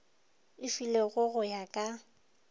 e filwego go ya ka